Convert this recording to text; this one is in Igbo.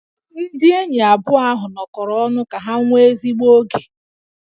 Ndị enyi abụọ ahụ nọkọrọ ọnụ ka ha nwee ezigbo oge